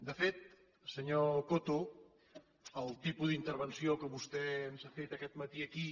de fet senyor coto el tipus d’intervenció que vostè ens ha fet aquest matí aquí